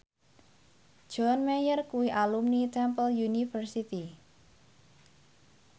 John Mayer kuwi alumni Temple University